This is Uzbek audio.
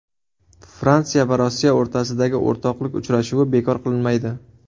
Fransiya va Rossiya o‘rtasidagi o‘rtoqlik uchrashuvi bekor qilinmaydi.